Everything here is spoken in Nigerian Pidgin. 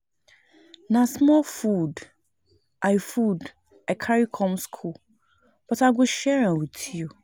Na small food i food I carry come skool but I go share am wit you.